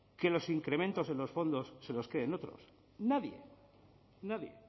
que los incrementos en los fondos se los queden otros nadie nadie